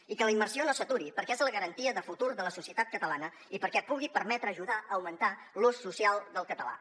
i que la immersió no s’aturi perquè és la garantia de futur de la societat catalana i perquè pugui permetre ajudar a augmentar l’ús social del català